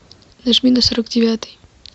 нажми на сорок девятый